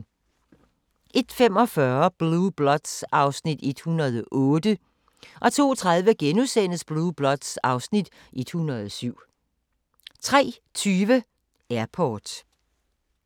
01:45: Blue Bloods (Afs. 108) 02:30: Blue Bloods (Afs. 107)* 03:20: Airport